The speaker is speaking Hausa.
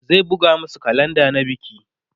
zai buga masu kalenda na biki